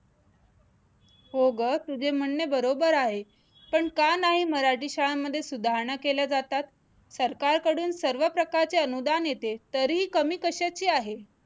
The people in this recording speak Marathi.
हो गं तुझे म्हणणे बरोबर आहे, पण का नाही मराठी शाळांमध्ये सुधारणा केल्या जातात? सरकार कडून सर्व प्रकारचे अनुदान येते, तरीही कमी कश्याची आहे?